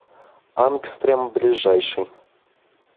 ангстрем ближайший